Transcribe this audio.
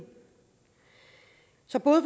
så både